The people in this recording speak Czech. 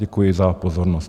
Děkuji za pozornost.